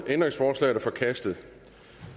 ændringsforslaget er forkastet